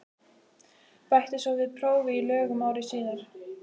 Bætti svo við prófi í lögum ári síðar.